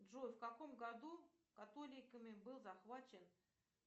джой в каком году католиками был захвачен